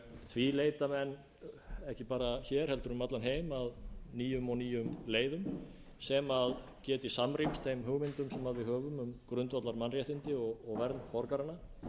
því leita menn ekki bara hér heldur um allan heim að nýjum og nýjum leiðum sem geti samrýmst þeim hugmyndum sem við höfum um grundvallarmannréttindi og vernd borgaranna